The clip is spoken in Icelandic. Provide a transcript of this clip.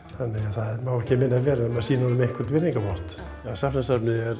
það má ekki minna vera en að sýna honum einhvern virðingarvott Safnasafnið er